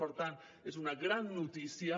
per tant és una gran notícia